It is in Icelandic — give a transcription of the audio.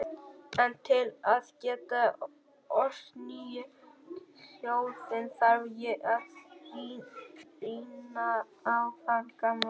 En til að geta ort nýja ljóðið þarf ég að rýna í það gamla.